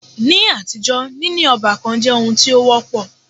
Ní àtijọ́, níní ọ́bàkan jẹ́ oun tí o wọ́pọ̀.